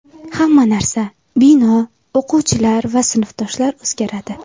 Hamma narsa bino, o‘qituvchilar va sinfdoshlar o‘zgaradi.